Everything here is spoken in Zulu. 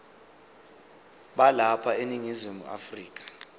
balapha eningizimu afrika